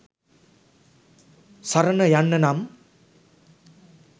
සරණ යන්න නම්